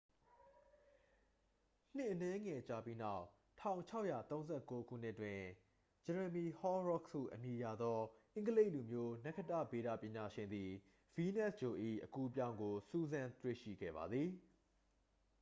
နှစ်အနည်းငယ်ကြာပြီးနောက် 1639 ခုနှစ်တွင် ဂျယ်ရမီ ဟော်ရောခ်စ် ဟုအမည်ရသော အင်္ဂလိပ်လူမျိုး နက္ခတ္တဗေဒပညာရှင်သည် ဗီးနပ်စ်ဂြိုလ်၏ အကူးအပြောင်းကို စူးစမ်းတွေ့ရှိခဲ့ပါသည်